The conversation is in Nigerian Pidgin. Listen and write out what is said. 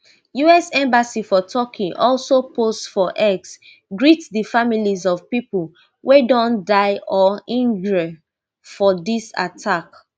usembassy for turkey also post for x greet di families of pipo wey don die or innjre for dis attack